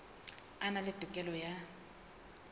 a na le tokelo ya